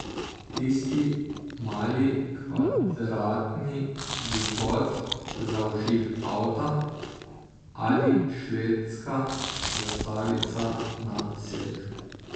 Tisti mali kvadratni vzvod za vžig avta, ali švedska zastavica na sedežu.